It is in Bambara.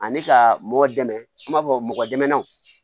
Ani ka mɔgɔ dɛmɛ an b'a fɔ mɔgɔ dɛmɛ